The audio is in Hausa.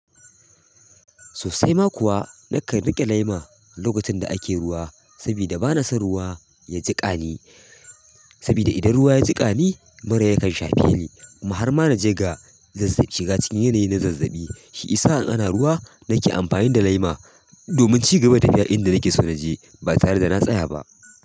Sossai ma kuwa nakan riƙe laima lokacin da ake ruwa saboda bana son ruwa ya jiƙa ni. Saboda idan ruwa ya jiƙa ni mura yakan shafe ni. Muhar ma na je ga zazzaɓi shiga cikin yanayi na zazzabi. Shi isa in ana ruwa nake amfani da laima domin ci gaba da tafiya inda nake so na je ba tare da na tsaya ba.